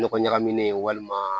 Nɔgɔ ɲagaminen walima